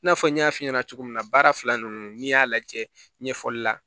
I n'a fɔ n y'a f'i ɲɛna cogo min na baara fila ninnu n'i y'a lajɛ ɲɛfɔli la